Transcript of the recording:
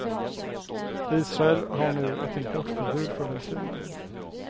Israel har nu ett importförbud för delfiner.